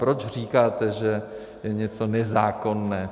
Proč říkáte, že je něco nezákonné?